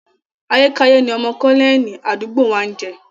Ayékáyé ni ọmọ kọ́nẹ́ẹ̀lì àdúgbò wa ń jẹ́